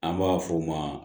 An b'a f'o ma